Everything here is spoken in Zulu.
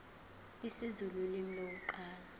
isizulu ulimi lokuqala